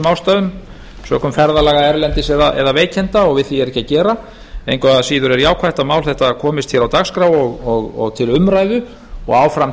ástæðum sökum ferðalaga erlendis eða veikinda og við því er ekki að gera engu að síður er jákvætt að mál þetta komist hér á dagskrá og til umræðu og áfram